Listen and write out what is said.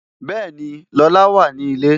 Bẹẹni, Lola wà ní ilé